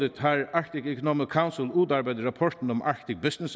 har arctic economic council udarbejdet rapporten arctic business